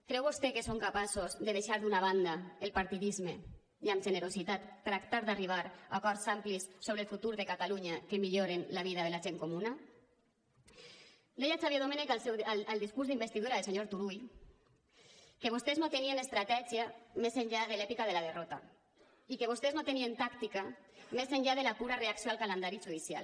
creu vostè que són capaços de deixar d’una banda el partidisme i amb generositat mirar d’arribar a acords amplis sobre el futur de catalunya que milloren la vida de la gent comuna deia el xavier domènech al discurs d’investidura del senyor turull que vostès no tenien estratègia més enllà de l’èpica de la derrota i que vostès no tenien tàctica més enllà de la pura reacció al calendari judicial